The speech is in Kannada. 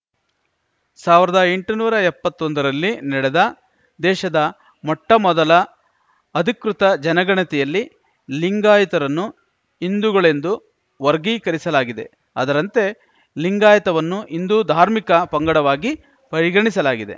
ಸಾವಿರ್ದಾ ಎಂಟ ನೂರಾ ಎಪ್ಪತ್ತೊಂದರಲ್ಲಿ ನೆಡೆದ ದೇಶದ ಮೊಟ್ಟಮೊದಲ ಅಧಿಕೃತ ಜನಗಣತಿಯಲ್ಲಿ ಲಿಂಗಾಯತರನ್ನು ಹಿಂದೂಗಳೆಂದು ವರ್ಗೀಕರಿಸಲಾಗಿದೆ ಅದರಂತೆ ಲಿಂಗಾಯತವನ್ನು ಇಂದೂ ಧಾರ್ಮಿಕ ಪಂಗಡವಾಗಿ ಪರಿಗಣಿಸಲಾಗಿದೆ